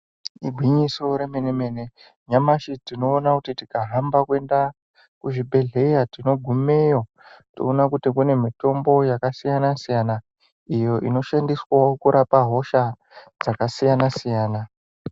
Igwinyiso remene-mene nyamashi tinoona kuti tikahamba kuenda kuzvibhedhleya. Tinogumeyo toona kuti kune mitombo yakasiyana-siyana, iyo inoshandiswavo kurapa hosha dzakasiyana-siyana.